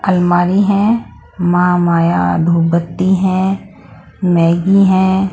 अलमारी है मा माया धूप बत्ती है मैगी है।